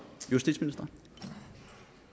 vi